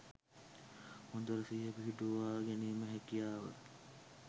හොඳට සිහිය පිහිටුවා ගැනීමේ හැකියාව